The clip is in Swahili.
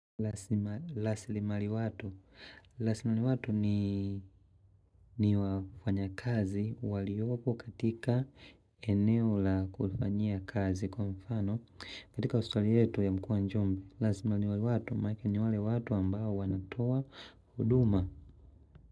Laslimari watu. Laslimari watu ni wafanya kazi waliopo katika eneo la kufanyia kazi kwa mfano kitaka Laslimari watu manaake ni wale watu ambao wanatoa huduma.